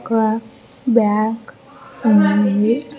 ఒక్క బ్యాగ్ ఉంది.